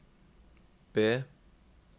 B